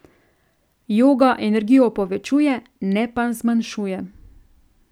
Joga energijo povečuje, ne pa zmanjšuje.